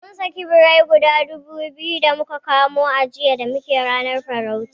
Mun saki birai gudu biyu da muka kamo a daji jiya da rana muna farauta